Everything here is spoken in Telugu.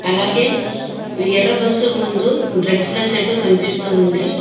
అలాగే ఎర్ర బస్సు ముందు రెక్కుల షెడ్డు కనిపిస్తు ఉంది.